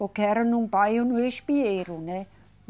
Porque era num bairro no Espinheiro, né?